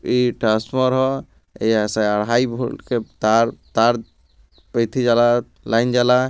ई transformer E S R high voltage तार तार लाइन जाला |